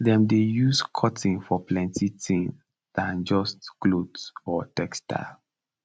dem dey use cotton for plenty thing dan just cloth or textile